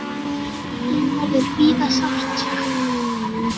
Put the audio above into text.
Þín verður víða sárt saknað.